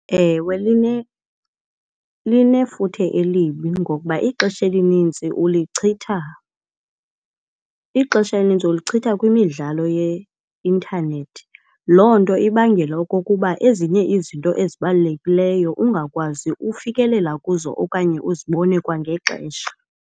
Ewe, linefuthe elibi ngoba ixesha elinintsi ulichitha. Ixesha elinintsi ulichitha kwimidlalo yeintanethi loo nto ibangela okokuba ezinye izinto ezibalulekileyo ungakwazi ufikelela kuzo okanye uzibone kwangexesha.